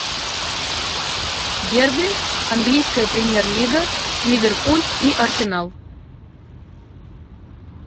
дерби английская премьер лига ливерпуль и арсенал